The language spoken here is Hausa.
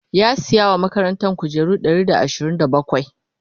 ya saya wa makarantan kujeru Ɗari da ashirin da bakwai?